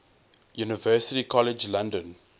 university college london